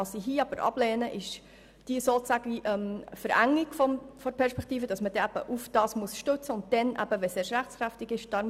Ich lehne hier aber ab, dass man sich darauf stützen muss und dies dann erst, wenn es rechtskräftig ist.